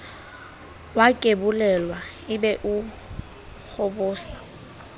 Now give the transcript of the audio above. wakebolelwa e be o hobosa